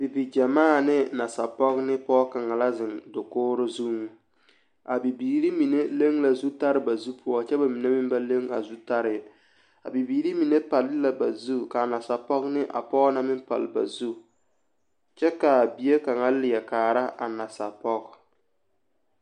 Bibigyemaa ne nasapoge ne poge kaŋa la ziŋ dakogroo zuiŋ a bibiiri mine leŋ la zutaree ba zupoɔ kyɛ bamine meŋ wa leŋ a zutare a Bibiiri mine palee la bazu ka a nasapoge meŋ ne a poge na palle bazu kyɛ ka a bie kaŋa leɛ kaara a nasapoge.